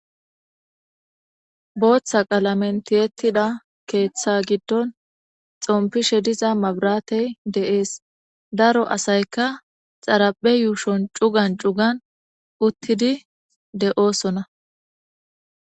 Botha qalamen tiyetda ketha giddon xonpishe diza mabirate des daro asayka xaraphe yushon cugan cugan utidi deo'sona